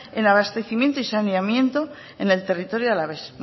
en abastecimiento y saneamiento en el territorio alavés